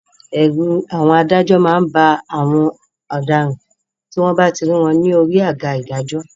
Ẹ̀rù àwọn adájọ́ má ń ba àwọn ọ̀daràn tí wọ́n bá ti rí wọ́n lórí àga ìdájọ́